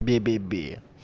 бе-бе-бе